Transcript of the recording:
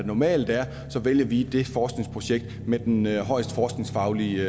normalt er vælger vi det forskningsprojekt med den højeste forskningsfaglige